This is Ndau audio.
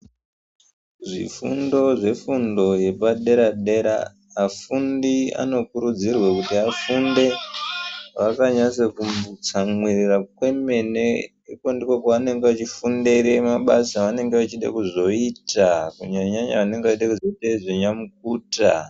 Zvifundo zvefundo yepadera dera vafundi anokurudzirwa kuti vafunde vakanatsotsamirira kwemene nekuti ndiko kwavanenge vachifundira mabasa avanoda kuzoita kunyanyanya vana nyamukuta .